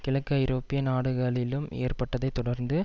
கிழக்கு ஐரோப்பிய நாடுகளிலும் ஏற்பட்டதைத் தொடர்ந்து